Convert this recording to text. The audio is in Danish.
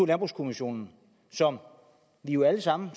landbrugskommissionen som vi jo alle sammen